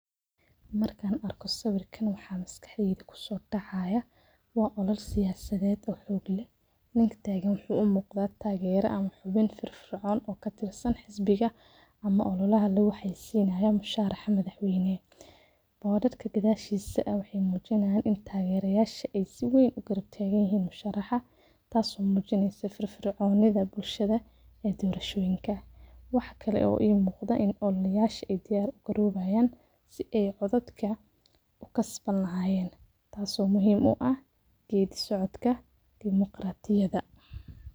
Markan arko sawirka waxa maskaxdeyda kusodacaya howlo siyasaded ninka tagan wuxu uu muqda tage ama xubin firicon okatirsan xisbiga ama ololaha musharax madaxweyne oo dadka gadasgisa wexey mujinayan in ey dadka sii ween utagerayan musharaxa taso mujineysa firficonida bulshoyinka ee dorashada wax kale ee imuqda in ey ololayasha ey diyar garowayan sii ey codadka kukasbani lahayentaaso muhiim uah gedi socdka iyo marqatiyada.